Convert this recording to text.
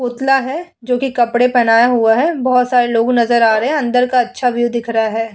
पुतला है जोकि कपड़े पहनाया हुआ है। बोहोत सारे लोग नजर रहे है। अंदर का अच्छा व्यू दिख रहा है।